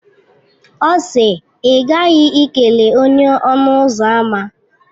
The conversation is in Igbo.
Ọ si, I ghaghi ikele onye-ọnụ-ụzọ-ámá!